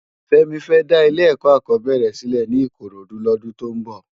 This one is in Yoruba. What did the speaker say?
Femi fè dá ilé èkò ákòbèrè silè ni ikorodu lòdún tó n bò